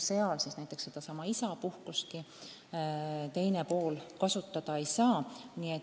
Sedasama isapuhkustki teine pool kasutada ei saa.